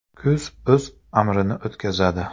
Kuz o‘z amrini o‘tkazadi.